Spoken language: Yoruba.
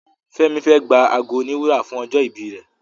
Femi fè gbà àgọ òní wúrà fún ojó ibí rẹ